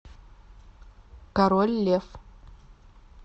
король лев